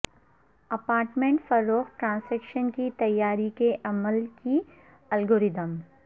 apartment فروخت transaction کی تیاری کے عمل کی الگورتھم